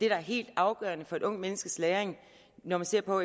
er helt afgørende for et ungt menneskes læring når man ser på